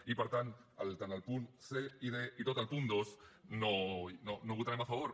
i per tant tant els punts c i d com tot el punt dos no els votarem a favor